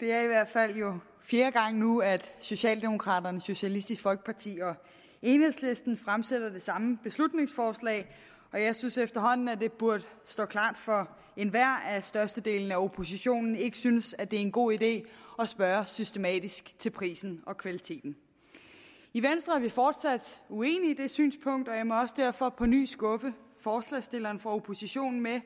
det er i hvert fald fjerde gang nu at socialdemokraterne socialistisk folkeparti og enhedslisten fremsætter det samme beslutningsforslag jeg synes efterhånden at det burde stå klart for enhver at størstedelen af oppositionen ikke synes det er en god idé at spørge systematisk til prisen og kvaliteten i venstre er vi fortsat uenige i det synspunkt og jeg må derfor også på ny skuffe forslagsstillerne fra oppositionen med